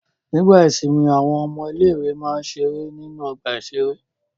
Nígbà ìsìnmi àwọn ọmọ ilé-ìwé máa ń ṣeré nínú ọgbà-ìṣeré.